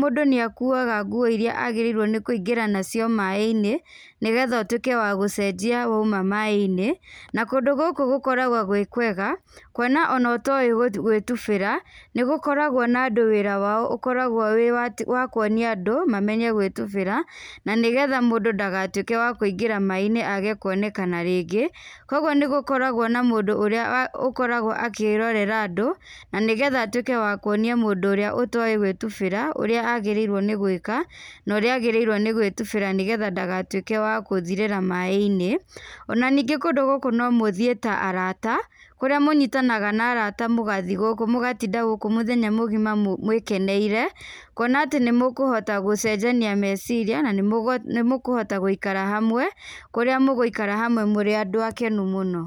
mũndũ nĩakuaga nguo iria agĩrĩirwo nĩ kũingĩra nacio maĩ-inĩ, nĩgetha ũtwĩke wa gũcenjia wauma maĩ-inĩ, na kũndũ gũkũ gũkoragwo gwĩ kwega, kuona ona ũtoĩ gwĩtubĩra, nĩgũkoragwo na andũ wĩra wao ũkoragwo wĩ wa atĩ kuonia andũ mamenye gwĩtubĩra, nanĩgetha mũndũ ndagatwĩke wa kũingĩra maĩ-inĩ age kuonekana rĩngĩ, kwoguo nĩgũkoragwo na mũndũ ũrĩa ũ akoragwo akĩrorera andũ nanĩgetha atwĩke wa kuonia mũndũ ũrĩa ũtoĩ gwĩtubĩra, ũrĩa agĩrĩirwo nĩ gwĩka , na ũrĩa agĩrĩirwo nĩ gwítubĩra nĩgetha ndagatwĩke wa gũthirĩra maĩ-inĩ, ona ningĩ kũndũ gúkũ nomũthiĩ ta arata, kũrĩa mũnyitanaga na arata mũgathiĩ gũkũ, mũgatinda gũkũ mũthenya mũgima mwĩkeneire, kuona atĩ nĩmũkũhota gũcenjania meciria na nimũgũ nĩmũkũhota gũikara hamwe kũrĩa mũgũikara hamwe mũrĩ andũ akenu mũno.